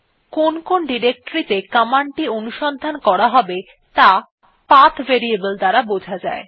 কোন কোন ডিরেক্টরী ত়ে কমান্ডটি অনুসন্ধান করা হবে ত়া পাথ ভেরিয়েবল দ্বারা বোঝা যায়